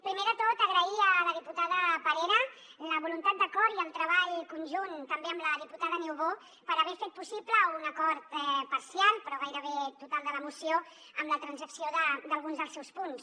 primer de tot agrair a la diputada parera la voluntat d’acord i el treball conjunt també amb la diputada niubó per haver fet possible un acord parcial però gairebé total de la moció amb la transacció d’alguns dels seus punts